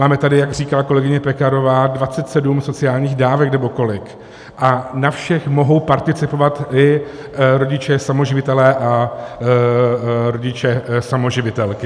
Máme tady, jak říkala kolegyně Pekarová, 27 sociálních dávek, nebo kolik, a na všech mohou participovat i rodiče samoživitelé a rodiče samoživitelky.